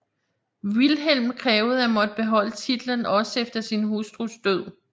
Vilhelm krævede at måtte beholde titlen også efter sin hustrus død